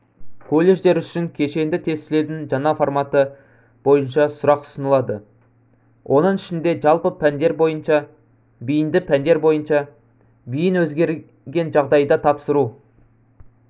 колледжер үшін кешенді тестілеудің жаңа форматы бойынша сұрақ ұсынылады оның ішінде жалпы пәндер бойынша бейінді пәндер бойынша бейін өзгерген жағдайда тапсыру